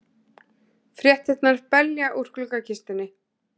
Fréttirnar belja úr gluggakistunni.